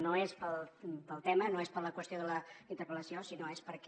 no és pel tema no és per la qüestió de la interpel·lació sinó que és perquè